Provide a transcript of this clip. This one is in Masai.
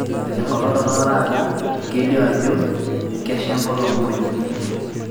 enkolong torrono taata kelio ajo kesha enkolong muuj